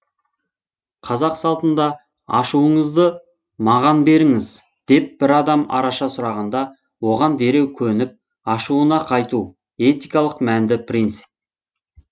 қазақ салтында ашуыңызды маған беріңіз деп бір адам араша сұрағанда оған дереу көніп ашуынан қайту этикалық мәнді принцип